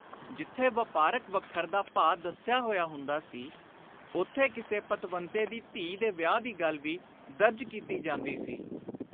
ਜਿਥੇ ਵਾਪਾਰਕ ਵੱਖਰ ਦਾ ਭਾਅ ਦੱਸਿਆ ਹੋਇਆ ਹੁੰਦਾ ਸੀ, ਉਥੇ ਕਿਸੇ ਪਤਵੰਤੇ ਦੀ ਧੀ ਦੇ ਵਿਆਹ ਦੀ ਗੱਲ ਵੀ ਦਰਜ ਕੀਤੀ ਜਾਂਦੀ ਸੀ।